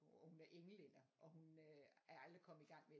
Og hun er englænder og hun er aldrig kommet i gang med